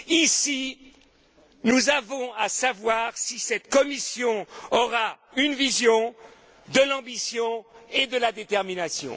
Ici, nous avons à savoir si cette Commission aura une vision, de l'ambition et de la détermination.